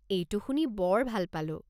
এইটো শুনি বৰ ভাল পালোঁ।